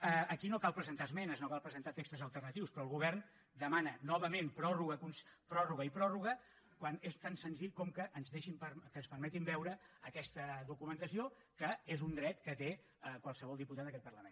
aquí no cal presentar esmenes no cal presentar textos alternatius però el govern demana novament pròrroga i pròrroga quan és tan senzill com que ens permetin veure aquesta documentació que és un dret que té qualsevol diputat en aquest parlament